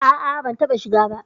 A'a ban taɓa shiga ba.